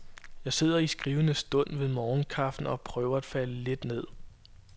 Jeg sidder i skrivende stund ved morgenkaffen og prøver at falde lidt ned.